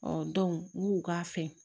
n'u k'a fɛ